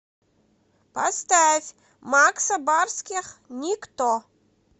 поставь макса барских никто